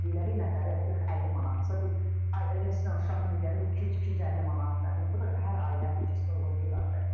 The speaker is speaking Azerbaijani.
Bir otaqlıq 40-50 manatdırsa, bir ailəsinə, uşağına gələ bir 200-250 manat, nə bilim, bu da hər ailənin büdcəsinə uyğun deyil axı.